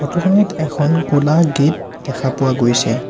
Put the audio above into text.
Photo খনত এখন ক'লা গেট দেখা পোৱা গৈছে।